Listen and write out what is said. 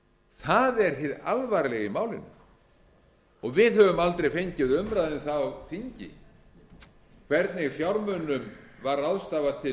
það er hið alvarlega í málinu við höfum aldrei fengið umræðu um það á þingi hvernig fjármunum var ráðstafað til